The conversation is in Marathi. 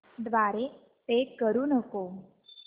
द्वारे पे करू नको